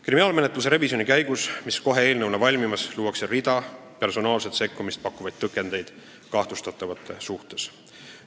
Kriminaalmenetluse revisjoni käigus, mis kohe eelnõuna on valmimas, luuakse rida personaalset sekkumist pakkuvaid tõkendeid kahtlustatavate suhtes.